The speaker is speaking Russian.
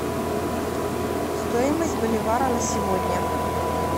стоимость боливара на сегодня